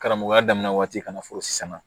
Karamɔgɔya daminɛ waati kana fɔ sisan